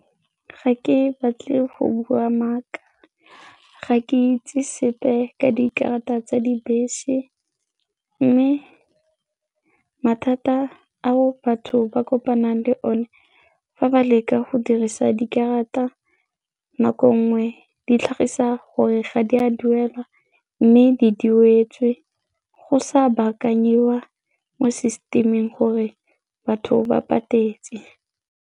Ga ke batle go bua maaka, ga ke itse sepe ka dikarata tsa dibese mme mathata ao batho ba kopanang le one fa ba leka go dirisa dikarata nako nngwe di tlhagisa gore ga di a duelwa mme di duetswe go sa baakanyiwa mo system-ing gore batho ba patetse.